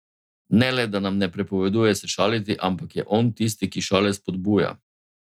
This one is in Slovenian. Ne le da nam ne prepoveduje se šaliti, ampak je on tisti, ki šale spodbuja.